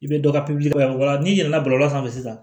I bɛ dɔ ka pipiniyɛri la n'i yɛlɛla bɔlɔlɔ sanfɛ sisan